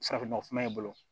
Farafin nɔgɔfinma ye